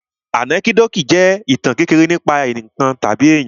Ànẹ́kídòtì jẹ́ ìtàn kékeré nípa ǹkan tàbí èyàn.